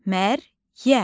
Məryəm.